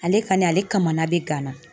Ale kɔni ,ale kamana de gan na.